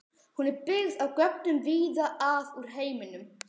Hún er byggð á gögnum víða að úr heiminum.